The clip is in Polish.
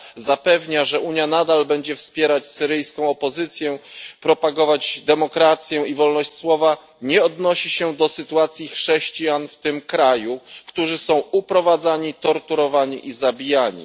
zapewnia, że Unia nadal będzie wspierać syryjską opozycję, propagować demokrację i wolność słowa, Rada nie odnosi się do sytuacji chrześcijan w tym kraju, którzy są uprowadzani, torturowani i zabijani.